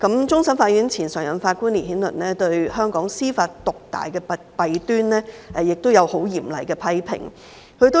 前終審法院常任法官烈顯倫對香港司法獨大的弊端，曾作出很嚴厲的批評。